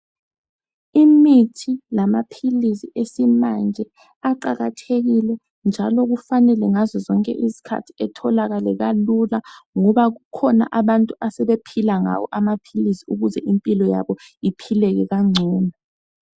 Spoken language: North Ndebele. Imithi lamaphilisi esimanje aqakathekile, njalo kufanele ngazo zonke izikhathi atholakale kalula, ngoba bakhona abantu asebephila ngawo amaphilisi, ukuze impilo yabo iphileke kangcono.